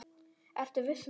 Ertu viss um þetta?